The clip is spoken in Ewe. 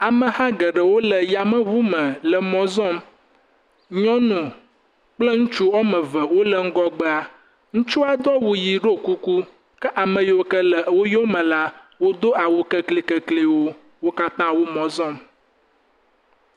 Ameha geɖewo le yameŋu me le mɔ zɔm, nyɔnu kple ŋutsu woame ve wole ŋgɔgbea, ŋutsua do awun ʋɛ̃, ɖɔ kuku, ke ame yiwo ke le wo yome la, wodo awu kekle keklewo. Wo katã wo mɔ zɔm.